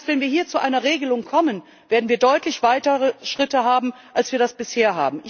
Das heißt, wenn wir hier zu einer Regelung kommen, werden wir deutlich weitere Schritte einleiten können als bisher.